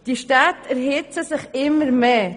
Die Städte erhitzen sich immer mehr.